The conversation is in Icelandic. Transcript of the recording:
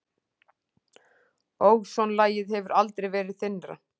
Ósonlagið hefur aldrei verið þynnra